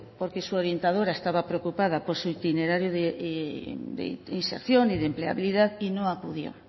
porque su orientadora estaba preocupada por su itinerario de inserción y de empleabilidad y no acudió